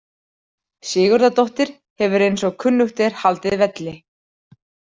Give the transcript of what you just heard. Sigurðardóttir hefur eins og kunnugt er haldið velli.